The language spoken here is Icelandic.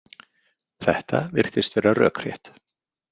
Þetta virtist vera rökrétt.